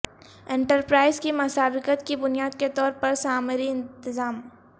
enterprise کی مسابقت کی بنیاد کے طور پر سامری انتظام